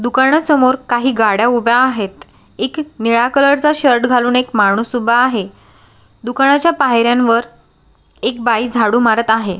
दुकाना समोर काही गाड्या उभ्या आहेत एक निळ्या कलरचा शर्ट घालुन एक माणूस उभा आहे दुकानाच्या पायऱ्यांवर एक बाई झाडु मारत आहे.